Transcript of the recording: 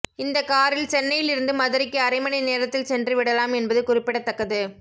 இந்த காரில் சென்னையிலிருந்து மதுரைக்கு அரை மணி நேரத்தில் சென்று விடலாம் என்பது குறிப்பிடத்தக்கது